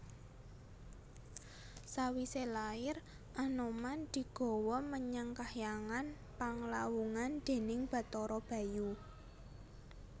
Sawisé lair Anoman digawa menyang kahyangan Panglawungan déning Bathara Bayu